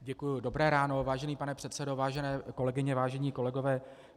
Děkuji, dobré ráno, vážený pane předsedo, vážené kolegyně, vážení kolegové.